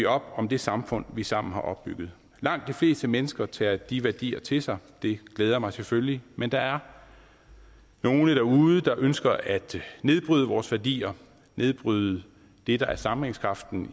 op om det samfund vi sammen har opbygget langt de fleste mennesker tager de værdier til sig det glæder mig selvfølgelig men der er nogle derude der ønsker at nedbryde vores værdier nedbryde det der er sammenhængskraften